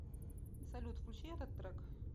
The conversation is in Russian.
салют включи этот трек